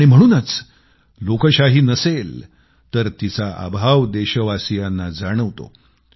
आणि म्हणूनच लोकशाही नसेल तर तिचा अभाव देशवासियांना जाणवतो